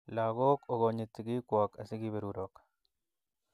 lagok okonit sigiikwok asi keberurok